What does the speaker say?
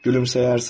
Gülümsəyərsən.